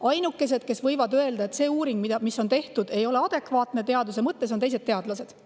Ainukesed, kes võivad öelda, et uuring, mis on tehtud, ei ole teaduse mõttes adekvaatne, on teised teadlased.